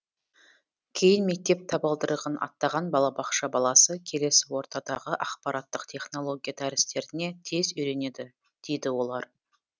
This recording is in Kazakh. кейін мектеп табалдырығын аттаған балабақша баласы келесі ортадағы ақпараттық технология дәрістеріне тез үйренеді дейді олар